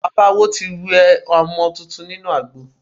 Bàbá Awo ti wẹ ọmọ tuntun nínú àgbo.